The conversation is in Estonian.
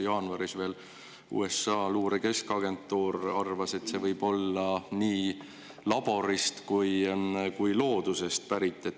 Jaanuaris USA-s Luure Keskagentuur arvas, et see võib olla nii laborist kui ka loodusest pärit.